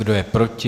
Kdo je proti?